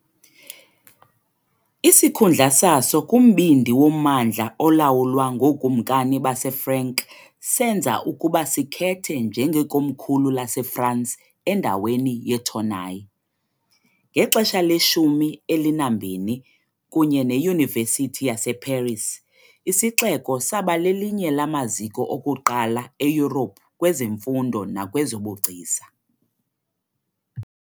Isikhundla saso kumbindi wommandla olawulwa ngookumkani baseFrank senza ukuba sikhethe njengekomkhulu laseFrance endaweni yeTournai. Ngexesha leshumi elinambini, kunye neYunivesithi yaseParis, isixeko saba lelinye lamaziko okuqala eYurophu kwezemfundo nakwezobugcisa.